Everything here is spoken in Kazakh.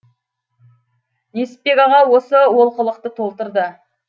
несіпбек аға осы олқылықты толтырды